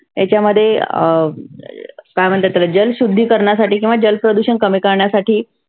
याच्यामध्ये अं काय म्हणतात त्याला जल शुद्धीकरणा साठी किंवा जल प्रदुषन कमी करण्यासाठी.